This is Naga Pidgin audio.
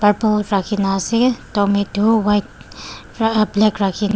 rakhina ase doormat tu white vra black rakhina.